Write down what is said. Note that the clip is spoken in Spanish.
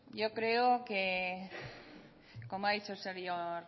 yo creo como ha dicho el señor